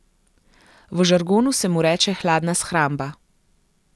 V žargonu se mu reče hladna shramba.